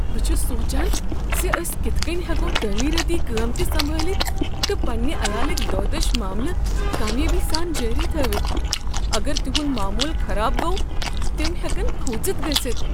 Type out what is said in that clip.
بہٕ چھس سوچان ز أسۍ کتھ کٔنۍ ہیکو تعمیرٲتی کٲم تہ سنبالتھ تہٕ پنٛنہ عیالٕکۍ دۄہ دش معاملہ کامیٲبی سان جٲری تھٲوِتھ۔ اگر تہنٛد معموٗل خراب گوٚو تم ہیکن کھوژِتھ گٔژھتھ۔